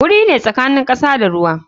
Guri ne tsakanin kasa da ruwa.